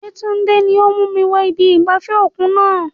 Yetunde ni ó mú mi wọ ibi ìgbafẹ́ òkun náà.